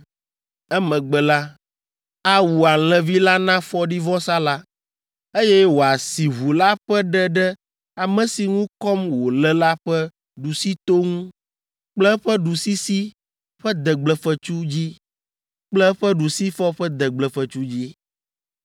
Emegbe la, awu alẽvi la na fɔɖivɔsa la, eye wòasi ʋu la ƒe ɖe ɖe ame si ŋu kɔm wòle la ƒe ɖusito ŋu kple eƒe ɖusisi ƒe degblefetsu dzi kple eƒe ɖusifɔ ƒe degblefetsu dzi.